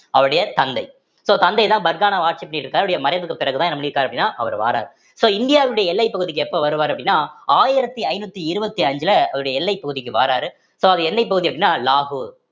அவருடைய தந்தை so தந்தைதான் பர்கானாவ ஆட்சி பண்ணிட்டு இருக்கார் அவருடைய மறைவுக்கு பிறகுதான் என்ன பண்ணிருக்காரு அப்படின்னா அவரு வாராரு so இந்தியாவினுடைய எல்லைப் பகுதிக்கு எப்ப வருவாரு அப்படின்னா ஆயிரத்தி ஐநூத்தி இருபத்தி அஞ்சுல அவருடைய எல்லைப் பகுதிக்கு வாராரு so அது எல்லைப் பகுதி அப்படின்னா லாகூர்